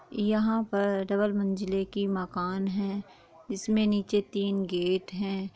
यहाँ पर डबल मंजिले की मकान है इसमें नीचे तीन गेट हैं।